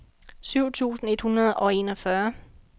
syv tusind et hundrede og enogfyrre